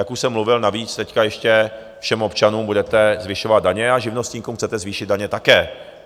Jak už jsem mluvil navíc, teď ještě všem občanům budete zvyšovat daně a živnostníkům chcete zvýšit daně také.